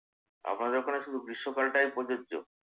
আপনাদের ওখানে শুধু গ্রীষ্মকালটাই প্রযোজ্য